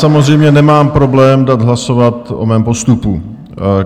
Samozřejmě nemám problém dát hlasovat o mém postupu.